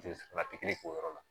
Joli la pikiri k'o yɔrɔ la